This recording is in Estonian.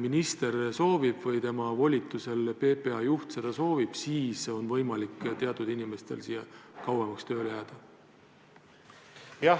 minister – või tema volitusel PPA juht – seda soovib, siis on võimalik teatud inimestel kauemaks siia tööle jääda?